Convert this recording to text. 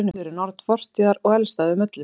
urður er norn fortíðar og elst af þeim öllum